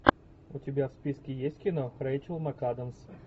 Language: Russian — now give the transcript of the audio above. у тебя в списке есть кино рейчел макадамс